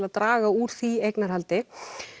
að draga úr því eignarhaldi